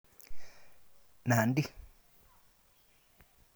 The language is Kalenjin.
Nandi